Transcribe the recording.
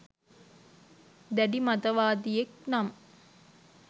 දැඩි මතවාදියෙක් නම්